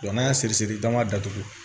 n'an y'a siri siri dama datugu